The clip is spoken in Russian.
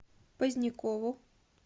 позднякову